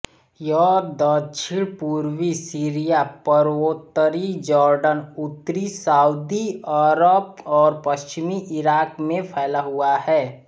यह दक्षिणपूर्वी सीरिया पूर्वोत्तरी जॉर्डन उत्तरी साउदी अरब और पश्चिमी इराक़ में फैला हुआ है